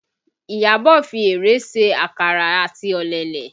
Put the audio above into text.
Iyabọ̀ fi erèé se àkàrà àti ọ̀lẹ̀lẹ̀